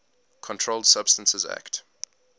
controlled substances acte